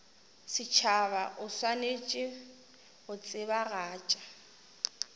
setšhaba o swanetše go tsebagatša